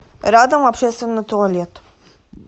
рядом общественный туалет